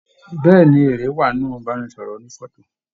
Bẹẹni, èrè wá nínú ibanisọrọ ònífọ̀tò.